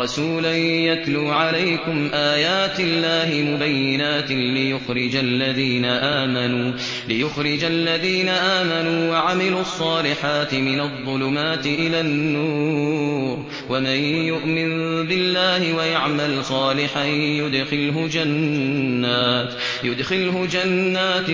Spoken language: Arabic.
رَّسُولًا يَتْلُو عَلَيْكُمْ آيَاتِ اللَّهِ مُبَيِّنَاتٍ لِّيُخْرِجَ الَّذِينَ آمَنُوا وَعَمِلُوا الصَّالِحَاتِ مِنَ الظُّلُمَاتِ إِلَى النُّورِ ۚ وَمَن يُؤْمِن بِاللَّهِ وَيَعْمَلْ صَالِحًا يُدْخِلْهُ جَنَّاتٍ